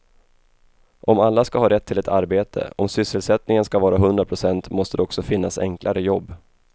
Om alla ska ha rätt till ett arbete, om sysselsättningen ska vara hundra procent måste det också finnas enklare jobb.